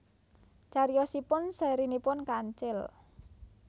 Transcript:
Cariyosipun sèrinipun Kancil